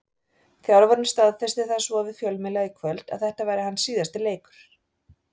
Þjálfarinn staðfesti það svo við fjölmiðla í kvöld að þetta væri hans síðasti leikur.